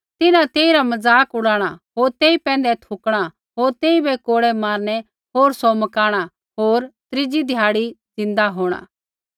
तिन्हां तेइरा मज़ाक उड़ाणा होर तेई पैंधै थूकणा होर तेइबै कोड़ै मारणै होर सौ मकाणा होर त्रीज़ै ध्याड़ी ज़िन्दै होंणा